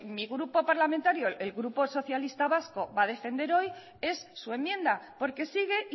mi grupo parlamentario el grupo socialistas vascos va a defender hoy es su enmienda porque sigue